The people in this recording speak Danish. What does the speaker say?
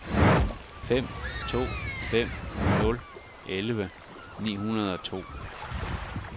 fem to fem nul elleve ni hundrede og to